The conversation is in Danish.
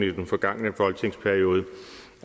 i den forgangne folketingsperiode